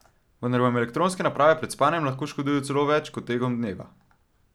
Vendar vam elektronske naprave pred spanjem lahko škodujejo celo več, kot tekom dneva.